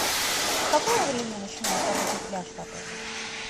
с какого времени начинает работать пляж в отеле